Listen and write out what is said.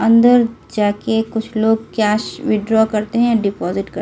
अंदर जाके कुछ लोग कैश विड्रॉ करते हैं डिपॉजिट कर --